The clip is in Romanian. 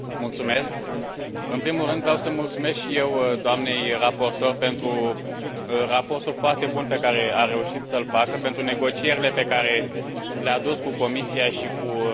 În primul rând, vreau să mulțumesc și eu doamnei raportor pentru raportul foarte bun pe care a reușit să îl facă, pentru negocierile pe care le a dus cu Comisia și cu Consiliul.